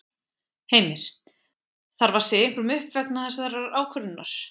Heimir: Þarf að segja einhverjum upp vegna þessarar ákvörðunar?